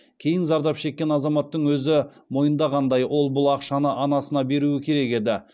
кейін зардап шекен азаматтың өзі мойындағандай ол бұл ақшаны анасына беруі керек еді